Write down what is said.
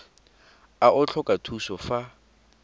a o tlhoka thuso fa